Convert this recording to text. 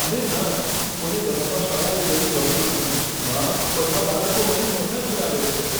અરે ના! મને બસમાં શાળાએ જવું ગમતું નથી, મા. બધા બાળકો મારી મજાક ઉડાવે છે.